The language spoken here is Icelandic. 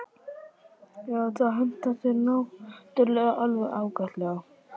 Já, það hentar þér náttúrulega alveg ágætlega.